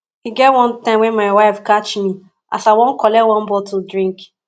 e get wan time wen my wife catch me as i wan collect one bottle drink